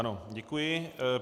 Ano, děkuji.